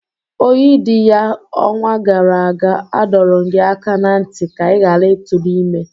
Oyidiya, onwa gara aga, adọrum gi aka na nti ka i ghara ị tụrụ ime!